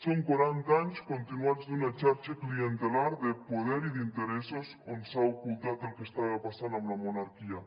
són quaranta anys continuats d’una xarxa clientelar de poder i d’interessos on s’ha ocultat el que estava passant amb la monarquia